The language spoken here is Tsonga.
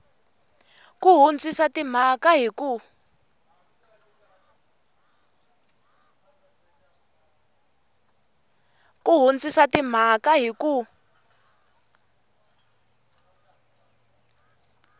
ku hundzisa timhaka hi ku